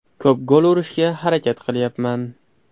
Ko‘p gol urishga harakat qilyapman.